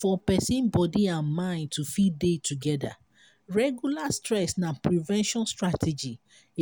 for person body and mind to fit dey together regular stress na prevention strategy